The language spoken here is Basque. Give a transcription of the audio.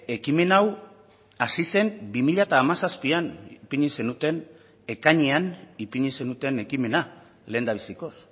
ekimen hau hasi zen bi mila hamazazpian ipini zenuten ekainean ipini zenuten ekimena lehendabizikoz